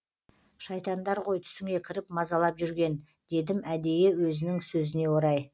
шайтандар ғой түсіңе кіріп мазалап жүрген дедім әдейі өзінің сөзіне орай